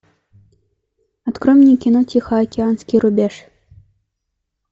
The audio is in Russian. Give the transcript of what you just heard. открой мне кино тихоокеанский рубеж